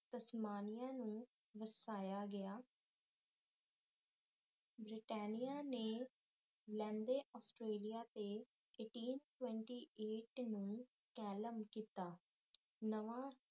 Tasmania ਨੂੰ ਵਸਾਇਆ ਗਿਆ ਬਰਤਾਨੀਆ ਨੇ ਲੈਂਦੇ ਆਸਟ੍ਰੇਲੀਆ ਤੇ ਨੂੰ ਕੈਲ੍ਮ ਕੀਤਾ